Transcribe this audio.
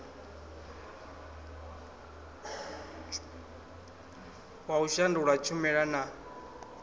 wa u shandula tshumela na